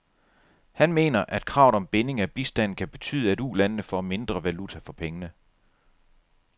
Han mener, at kravet om binding af bistanden kan betyde, at ulandene får mindre valuta for pengene.